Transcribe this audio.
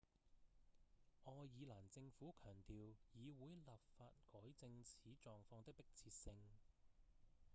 愛爾蘭政府強調議會立法改正此狀況的迫切性